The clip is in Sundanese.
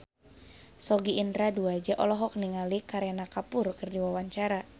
Sogi Indra Duaja olohok ningali Kareena Kapoor keur diwawancara